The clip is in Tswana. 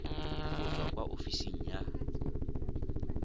go tswa kwa ofising ya